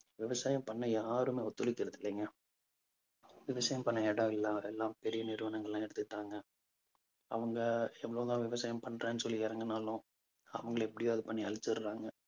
விவசாயம் பண்ண யாருமே ஒத்துழைக்கிறது இல்லைங்க. விவசாயம் பண்ண இடம் இல்லை. அதெல்லாம் பெரிய நிறுவனங்கள் எல்லாம் எடுத்துக்கிட்டாங்க. அவங்க எவ்வளவுதான் விவசாயம் பண்றேன்னு சொல்லி இறங்குனாலும் அவங்களை எப்படியாவது பண்ணி அழிச்சிடுறாங்க